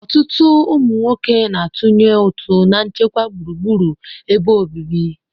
Ọtụtụ ụmụ nwoke na-atụnye ụtụ na nchekwa gburugburu ebe obibi.